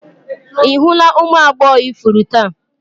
Ị hụla ụmụ agbọghọ ifuru taa?